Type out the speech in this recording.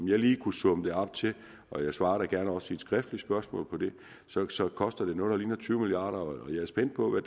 lige kunne summe det op til og jeg svarer da gerne også på et skriftligt spørgsmål om det så så koster det noget der ligner tyve milliard kr og jeg er spændt på hvad